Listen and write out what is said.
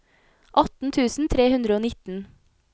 atten tusen tre hundre og nitten